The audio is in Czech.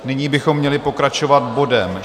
Nyní bychom měli pokračovat bodem